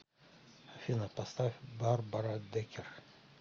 афина поставь барбара декер